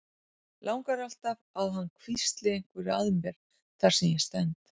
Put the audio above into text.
Langar alltaf að hann hvísli einhverju að mér þar sem ég stend.